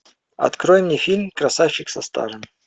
открой мне фильм красавчик со стажем